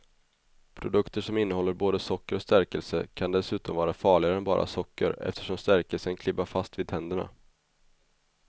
Produkter som innehåller både socker och stärkelse kan dessutom vara farligare än bara socker eftersom stärkelsen klibbar fast vid tänderna.